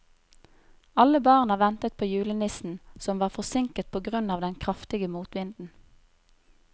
Alle barna ventet på julenissen, som var forsinket på grunn av den kraftige motvinden.